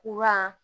Kuran